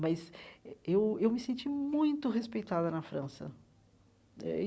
Mas eh eu eu me senti muito respeitada na França eh e.